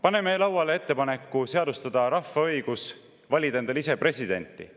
Paneme lauale ettepaneku seadustada rahva õigus valida endale ise presidenti.